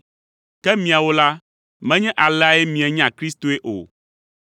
Ke miawo la, menye aleae mienya Kristoe o.